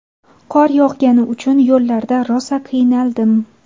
Qor yog‘gani uchun yo‘llarda rosa qiynaldim.